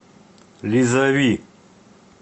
лизави